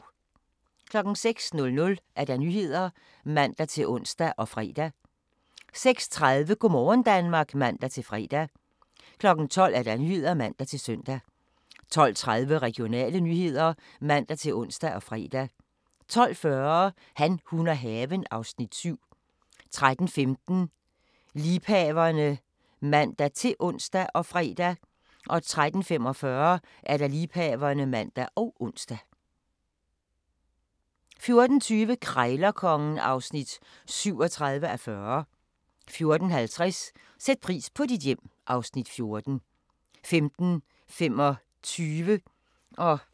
06:00: Nyhederne (man-ons og fre) 06:30: Go' morgen Danmark (man-fre) 12:00: Nyhederne (man-søn) 12:30: Regionale nyheder (man-ons og fre) 12:40: Han, hun og haven (Afs. 7) 13:15: Liebhaverne (man-ons og fre) 13:45: Liebhaverne (man og ons) 14:20: Krejlerkongen (37:40) 14:50: Sæt pris på dit hjem (Afs. 14) 15:25: Grænsepatruljen (man-ons)